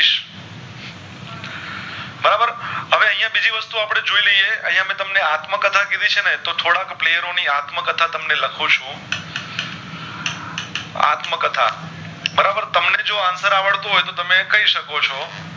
એ તો આપડે જોય લેયી અન્ય મેં તમને આત્મકથા કીધી છે ને તો થોડાક players ની આત્મકથા તમને લુખું છું આત્મકથા બરાબર તમને જો answar આવડતું હોય તો તમે કે શકો છો